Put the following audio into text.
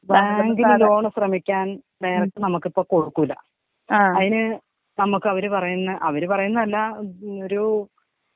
ബാങ്കില് ലോൺ ശ്രമിക്കാൻ നേരിട്ട് നമുക്ക് കൊടുക്കൂല. അതിന് നമുക്ക് അവര് പറയുന്ന അവര് പറയുന്നല്ല ഒരു.